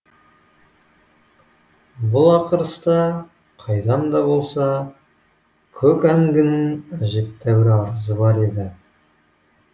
бұл ақырыста қайдан да болса көк әңгінің әжептәуір арызы бар еді